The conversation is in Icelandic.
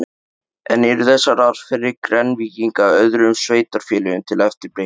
En eru þessar aðferðir Grenvíkinga öðrum sveitarfélögum til eftirbreytni?